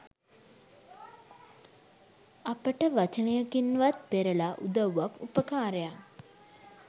අපට වචනයකින්වත් පෙරලා උදව්වක් උපකාරයක්